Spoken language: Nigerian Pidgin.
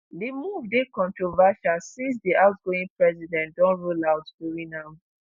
di move dey controversial since di outgoing president don rule out doing am.